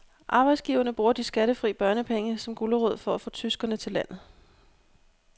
Arbejdsgiverne bruger de skattefri børnepenge som gulerod for at få tyskere til landet.